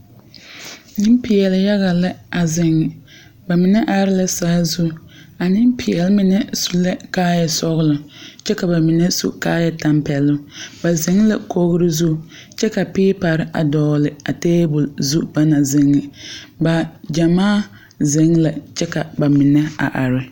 Nempeɛle yaga la a zeŋ ba mine are la saazu a nempeɛle ŋa su la kaaya sɔgla kyɛ ka ba mine su kaaya tampɛloŋ ba zeŋ la kogri zu kyɛ ka peepare a dogli tabol zu bagyamaa zeŋ la kyɛ ka ba mine are.